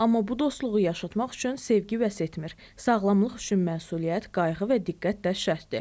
Amma bu dostluğu yaşatmaq üçün sevgi vəsətmir, sağlamlıq üçün məsuliyyət, qayğı və diqqət də şərtdir.